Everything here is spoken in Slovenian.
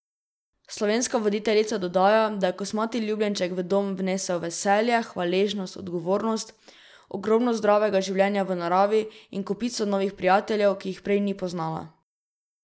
Slovenska voditeljica dodaja, da je kosmati ljubljenček v dom vnesel veselje, hvaležnost, odgovornost, ogromno zdravega življenja v naravi in kopico novih prijateljev, ki jih prej ni poznala.